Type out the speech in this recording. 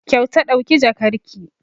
Kyauta ɗauki jakarki!